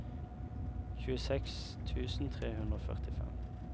tjueseks tusen tre hundre og førtifem